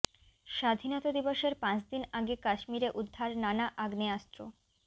স্বাধীনতা দিবসের পাঁচ দিন আগে কাশ্মীরে উদ্ধার নানা আগ্নেয়াস্ত্র